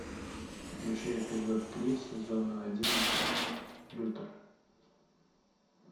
включи эпизод три сезона одиннадцать лютер